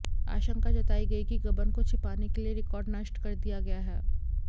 आशंका जताई गई कि गबन को छिपाने के लिये रिकार्ड नष्ट कर दिया गया है